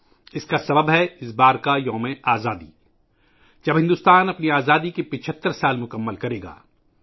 اس کی وجہ ہے ، اس مرتبہ کا یوم آزادی ، جب بھارت اپنی آزادی کے 75 سال مکمل کرے گا